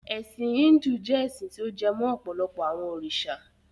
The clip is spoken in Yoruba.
Ẹ̀sin Híndù jẹ́ ẹ́sin ti ó jẹ mó ọ̀pọ̀lọpọ àwọn òrìṣà.